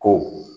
Ko